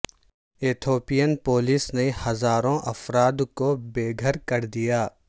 Ethiopian police نے ہزاروں افراد کو بے گھر کر دیا